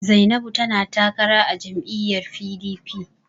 Zainabu tana takara a jam'lyyar PDP.